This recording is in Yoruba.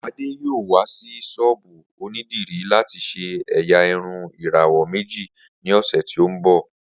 Ade yoo wa si sọ́ọ́bú onidiri lati ṣe ẹ́yá irun irawọ meji ni ọsẹ ti n bọ.